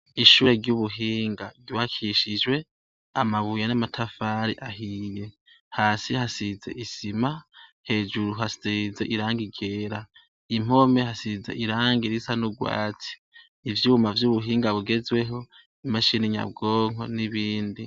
Ishure ry'ubuhinga ryubakishijwe amabuye n'amatafari ahiye, Hasi hasize isima, hejuru hasize irangi ryera. Impome hasize irangi risa n'urwati. Ivyuma vy'ubuhinga bugezweho, imashini nyabwonko n'ibindi.